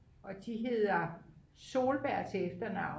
og de hedder Solberg til efternavn